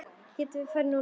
Getum við farið núna?